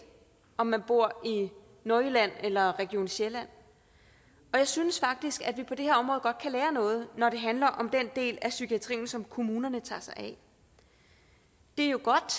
om man bor i nordjylland eller region sjælland og jeg synes faktisk at vi på det her godt kan lære noget når det handler om den del af psykiatrien som kommunerne tager sig af det er jo godt